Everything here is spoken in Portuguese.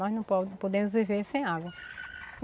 Nós não pode podemos viver sem água.